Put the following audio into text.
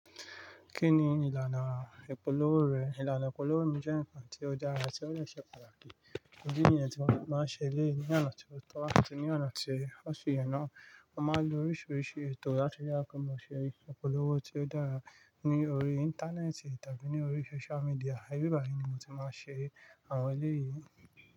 Kí ni ìlànà ìpolówó rẹ? Ìlànà ìpolówó mi jẹ́ nǹkan tó dára, tí ó dẹ̀ ṣe pàtàkì. Ìdí niyẹn tí mo fi máa n ṣe eléyìí ní ọ̀nà tí ó tọ́ àti ní ọ̀nà tí ó ṣe ènìyàn náà, wọ́n máa ń lo oríṣiríṣi ètò láti yà kọ́mọ ṣe ìpolówó tí ó dára. Ní orí Íńtánẹ́ẹ̀tì tàbí ní orí sóṣú máídíà, ibí báyìí ni mo ti máa ń ṣe àwọn eléyìí.